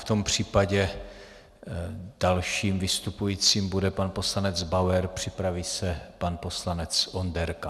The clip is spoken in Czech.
V tom případě dalším vystupujícím bude pan poslanec Bauer, připraví se pan poslanec Onderka.